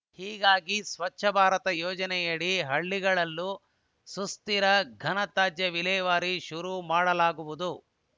ಹೀಗಾಗಿ ಸ್ವಚ್ಛ ಭಾರತ ಯೋಜನೆಯಡಿ ಹಳ್ಳಿಗಳಲ್ಲೂ ಸುಸ್ಥಿರ ಘನ ತ್ಯಾಜ್ಯ ವಿಲೇವಾರಿ ಶುರು ಮಾಡಲಾಗುವುದು